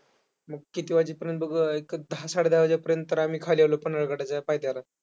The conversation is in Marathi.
मग किती वाजेपर्यंत बघ, एक दहा-साडेदहा वाजेपर्यंत आम्ही खाली आलो पन्हाळगडाच्या पायथ्याला.